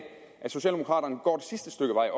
socialdemokraterne også går det sidste stykke vej